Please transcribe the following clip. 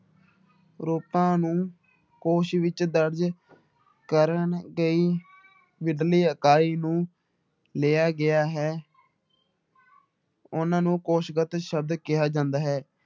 ਰੂਪਾਂ ਨੂੰ ਕੋਸ਼ ਵਿੱਚ ਦਰਜ਼ ਕਰਨ ਗਈ ਮੁੱਢਲੀ ਇਕਾਈ ਨੂੰ ਲਿਆ ਗਿਆ ਹੈ ਉਹਨਾਂ ਨੂੰ ਕੋਸ਼ਗਤ ਸ਼ਬਦ ਕਿਹਾ ਜਾਂਦਾ ਹੈ।